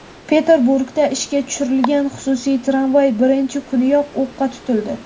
Peterburgda ishga tushirilgan xususiy tramvay birinchi kuniyoq o‘qqa tutildi.